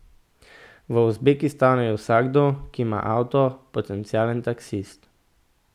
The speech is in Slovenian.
V Uzbekistanu je vsakdo, ki ima avto, potencialen taksist.